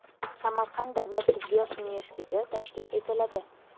Samarqand davlat tibbiyot universiteti tashkil etiladi.